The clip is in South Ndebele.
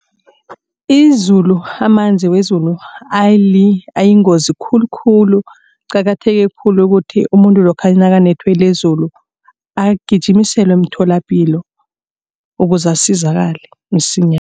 Izulu amanzi wezulu ayingozi khulukhulu. Kuqakatheke khulu ukuthi umuntu lokha nakanethwe lizulu agijimiselwe emtholapilo ukuze asizakale